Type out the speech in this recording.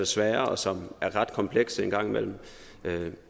svære og som er ret komplekse en gang imellem